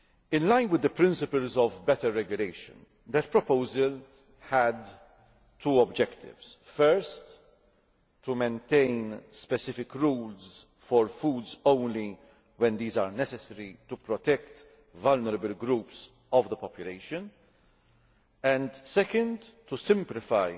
In line with the principles of better regulation, that proposal had two objectives first, to maintain specific rules for foods only when these are necessary to protect vulnerable population groups and, second, to simplify